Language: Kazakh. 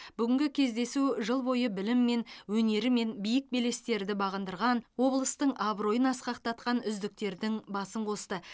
бүгінгі кездесу жыл бойы біліммен өнерімен биік белестерді бағындырған облыстың абыройын асқақтатқан үздіктердің басын қосты